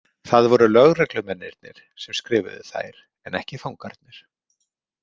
Það voru lögreglumennirnir sem skrifuðu þær en ekki fangarnir.